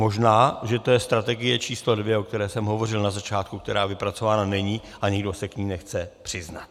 Možná že to je strategie číslo 2, o které jsem hovořil na začátku, která vypracována není, a nikdo se k ní nechce přiznat.